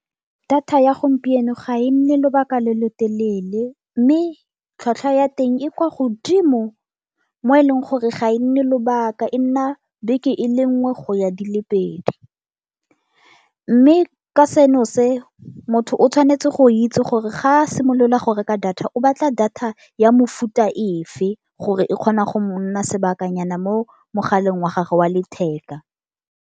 Data ya gompieno ga e nne lobaka le le telele mme tlhwatlhwa ya teng e kwa godimo mo e leng gore ga e nne lobaka e nna beke e le nngwe go ya di le pedi. Mme ka seno se motho o tshwanetse go itse gore ga a simolola go reka data o batla data ya mofuta ofe gore e kgona go mo nna sebakanyana mo mogaleng wa gagwe wa letheka.